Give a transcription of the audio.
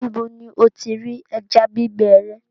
Níbò ni o ti rí ẹ̀já gbìgbẹ rẹ?